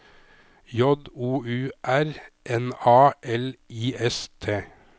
J O U R N A L I S T